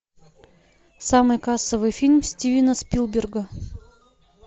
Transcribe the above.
самый кассовый фильм стивена спилберга